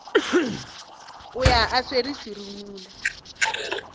o ya a swere serumula